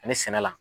Ani sɛnɛ la